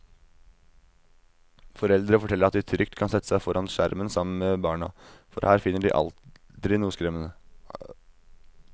Foreldre forteller at de trygt kan sette seg foran skjermen sammen med barna, for her finner de aldri noe skremmende.